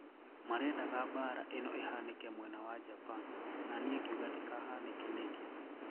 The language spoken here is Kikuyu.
Marendaga mbara ĩno ĩhanĩke mwena wa Japan nanĩĩ ngĩuga ndikahañĩke nĩkĩ?'